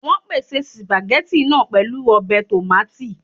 Wọ́n pèsè spaghetti náà pẹ̀lú ọbẹ̀ tòmátì